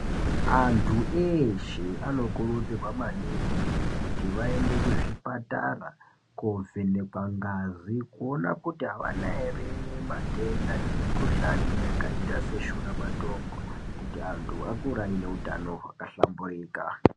Antu eshe anokurudzirwa maningi kuti vaende kuzvipatara kovhenekwa ngazi kuona kuti avana ere matenda nemikuhlani yakaita seshura matongo kuti anhu akure ane hutano hwakahlamburika.